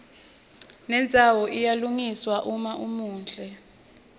nendzawo iyalungiswa uma umuhle